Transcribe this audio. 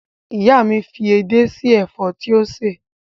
Ìyá mi fi edé sí ẹ̀fọ́ tí ó sè